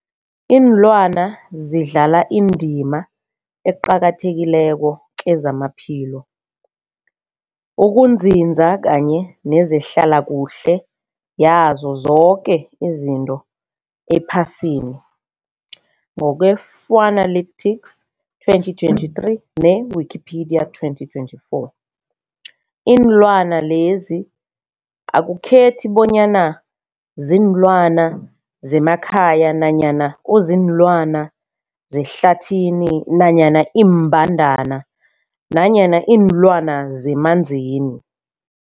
Iinlwana zidlala indima eqakathekileko kezamaphilo, ukunzinza kanye nezehlala kuhle yazo zoke izinto ephasini, ngokwe-Fuanalytics 2023, ne-Wikipedia 2024. Iinlwana lezi akukhethi bonyana ziinlwana zemakhaya nanyana kuziinlwana zehlathini nanyana iimbandana nanyana iinlwana zemanzini.